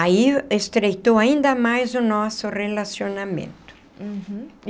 Aí estreitou ainda mais o nosso relacionamento. Uhum.